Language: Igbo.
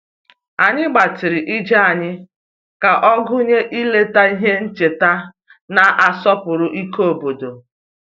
Anyị gbatịrị ije anyị ka ọ gụnye ileta ihe ncheta na-asọpụrụ ike obodo